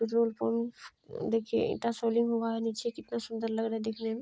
Petrol pump देखिए ईंटा soling हुआ है नीचे। कितना सुंदर लग रहा है देखने में।